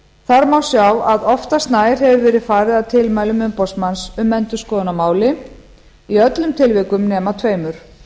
þar má sjá að oftast nær hefur verið farið að tilmælum umboðsmanns um endurskoðun á máli í öllum tilvikum nema tveimur